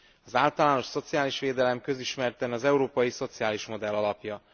Az általános szociális védelem közismerten az európai szociális modell alapja.